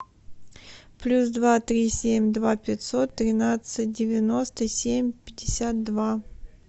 плюс два три семь два пятьсот тринадцать девяносто семь пятьдесят два